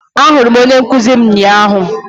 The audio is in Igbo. ahụrụ m onye nkuzi m ụnyahụ